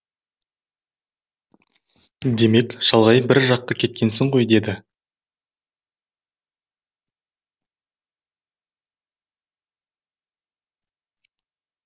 демек шалғай бір жаққы кеткенсің ғой деді